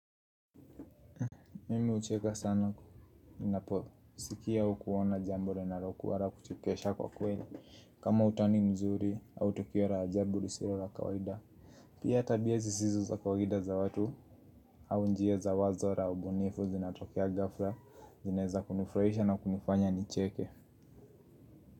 Mimi hucheka sana, ninapo, sikia au kuona jambo linalokua la kuchekesha kwa kweli. Kama utani mzuri au tokio la ajabu lisiyo la kawaida pia tabia zisizo za kawaida za watu au njia za wazo na ubunifu zinatokea ghafla. Zinaweza kunifuraisha na kunifanya nicheke.